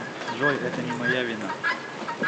джой это не моя вина